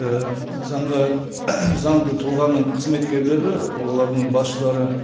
і заңға заңды тұлғаның қызметкерлері олардың басшылары